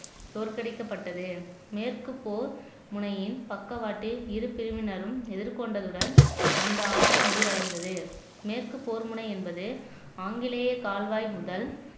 தோற்கடிக்கப்பட்டது மேற்கு போர் முனையின் பக்கவாட்டில் இரு பிரிவினரும் எதிர்கொண்டதுடன் அந்த ஆண்டு முடிவடைந்தது மேற்கு போர்முனை என்பது ஆங்கிலேய கால்வாய் முதல்